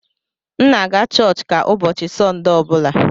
M na-aga Churchka ụbọchị Sọnde ọ bụla.